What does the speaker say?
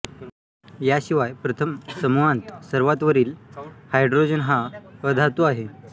याशिवाय प्रथम समूहांत सर्वात वरील हायड्रोजन हा अधातु आहे